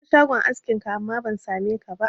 Na zo shagon askin ka, amma ban sa me ka ba